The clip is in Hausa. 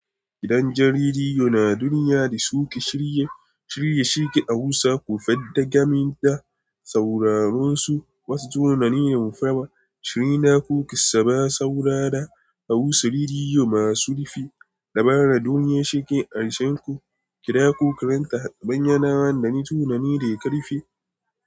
Gidan jaridu na duniya da suke shirye-shirye a Hausa ko fadagamin da sauraron su wasu tunanin mafi shirinako ki saba saura da Hausa Rediyo masu rufi. Labaran duniya shike a isanku, kira ko karanta a banyan nawa da ni tunani da ya karfi.